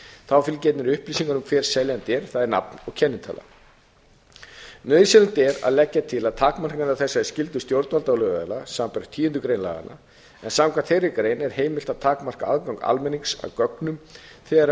þá fylgi einnig upplýsingar um hver seljandi er það er nafn og kennitala nauðsynlegt er að leggja til takmarkanir á þessari skyldu stjórnvalda og lögaðila samanber tíundu grein laganna en samkvæmt þeirri grein er heimilt að takmarka aðgang almennings að gögnum þegar